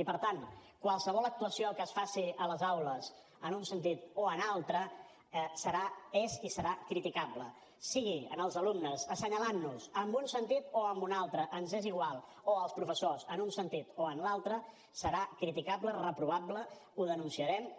i per tant qualsevol actuació que es faci a les aules en un sentit o en altre és i serà criticable sigui en els alumnes assenyalant nos en un sentit o en un altre ens és igual o els professors en un sentit o en l’altre serà criticable reprovable ho denunciarem